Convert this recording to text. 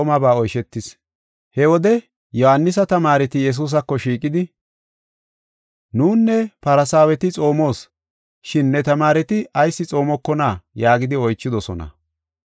He wode Yohaanisa tamaareti Yesuusako shiiqidi, “Nunne Farsaaweti xoomos, shin ne tamaareti ayis xoomokonaa?” yaagidi oychidosona.